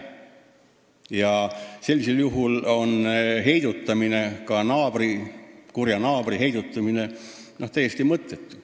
Ja sellisel juhul oleks heidutamine, ka kurja naabri heidutamine täiesti mõttetu.